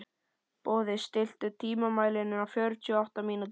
Boði, stilltu tímamælinn á fjörutíu og átta mínútur.